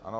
Ano.